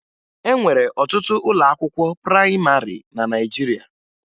E nwere ọtụtụ ụlọakwụkwọ prayịmarị na Naịjirịa